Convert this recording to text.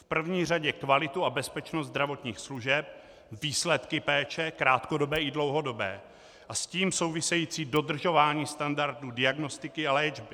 V první řadě kvalitu a bezpečnost zdravotních služeb, výsledky péče krátkodobé i dlouhodobé a s tím související dodržování standardů diagnostiky a léčby.